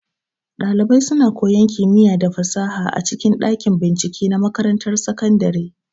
Ɗalibai suna koyan kimiya da fasaha a cikin ɗakin bincike na makarantar sakandare.